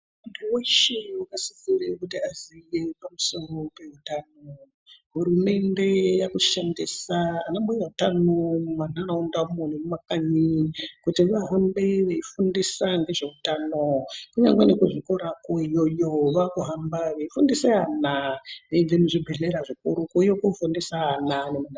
Muntu veshe akasisire kuti aziye pamusoro pehutano. Hurumende yakushandisa ana mbuya hutano mumandaraunda umo nemumakanyi kuti vahambe veifundisa ngezveutano. Kunyangwe nekuzvikorako iyoyo vakuhamba veifundisa ana. Veibve muzvibhedhlera zvikuru kuuye kofundisa ana ...